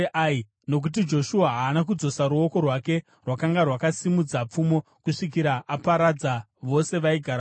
Nokuti Joshua haana kudzosa ruoko rwake rwakanga rwakasimudza pfumo kusvikira aparadza vose vaigara muAi.